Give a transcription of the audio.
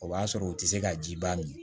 O b'a sɔrɔ u tɛ se ka ji ban nin ye